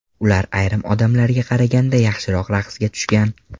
Ular ayrim odamlarga qaraganda yaxshiroq raqsga tushgan.